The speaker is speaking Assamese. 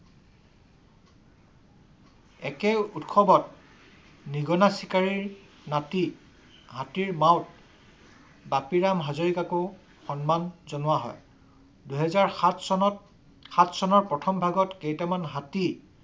একে উৎসৱত নিগনা চিকাৰীৰ নাতি হাতীৰ মাউত বাপিৰাম হাজৰিকাক ও সন্মান জনোৱা হয়। দুহেজাৰ সাত চনত সাত চনৰ প্ৰথম ভাগত কেইটামান হাতী